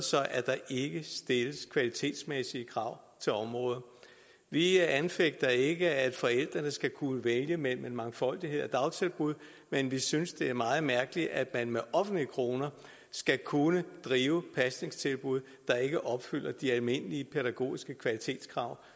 at der ikke stilles kvalitetsmæssige krav til området vi anfægter ikke at forældrene skal kunne vælge mellem en mangfoldighed af dagtilbud men vi synes det er meget mærkeligt at man med offentlige kroner skal kunne drive pasningstilbud der ikke opfylder de almindelige pædagogiske kvalitetskrav